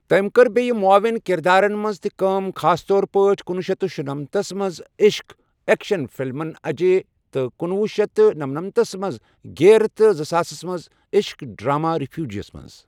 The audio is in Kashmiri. تٔمۍ کٔر بیٚیِہ معاون کردارن منٛز تہِ کٲم خاص طور پٲٹھۍ کنۄہ شیتھ شُنمنتَ تھس منٛز عٔشٕق ایکشن فلمَن اجے تہٕ کنۄہ شیتھ نمنمت تھس منٛز گیئر، تہٕ زٕساسَس منٛز عٔشٕق ڈرامہ ریفیوجی منٛز.